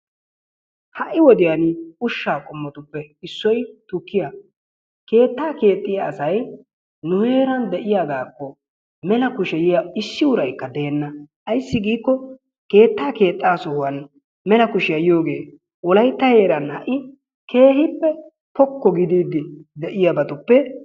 Ha'i wodiyaan ushsha qommottuppe issoy tukkiya. Keetta keexiya asay nu heeran de'iyaagakko mella kushshe yiyaa issi uraykka deena. Ayssi giikko keetta keexa sohuwaan mella kushiyaa yiyooge wolaytta heeran ha'i keehippe pokko gidiidi de'iyabattuppe...